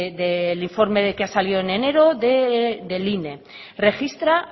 que ha salido en enero del ine registra